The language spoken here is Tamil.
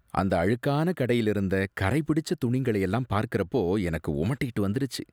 அந்த அழுக்கான கடையில இருந்த கறை பிடிச்ச துணிங்களை எல்லாம் பார்க்கறப்போ எனக்கு உமட்டிட்டு வந்துருச்சு